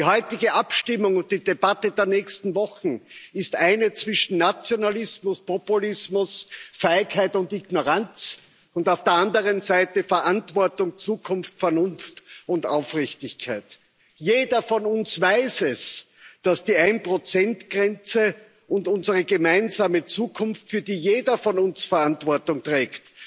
Die heutige Abstimmung und die Debatte der nächsten Wochen ist eine zwischen Nationalismus, Populismus, Feigheit und Ignoranz und auf der anderen Seite Verantwortung, Zukunft, Vernunft und Aufrichtigkeit. Jeder von uns weiß, dass die 1 Grenze unsere gemeinsame Zukunft, für die jeder von uns Verantwortung trägt,